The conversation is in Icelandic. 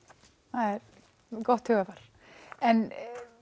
það er gott hugarfar en